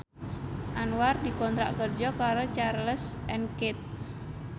Anwar dikontrak kerja karo Charles and Keith